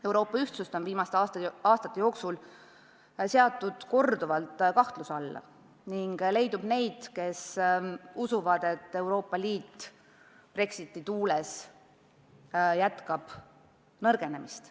Euroopa ühtsust on viimaste aastate jooksul seatud korduvalt kahtluse alla ning leidub neid, kes usuvad, et Euroopa Liit jätkab Brexiti tuules nõrgenemist.